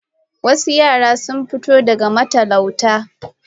Wasu yara sun fito daga matalauta